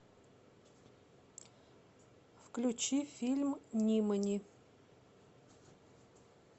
включи фильм нимани